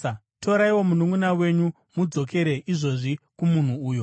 Toraiwo mununʼuna wenyu mudzokere izvozvi kumunhu uyo.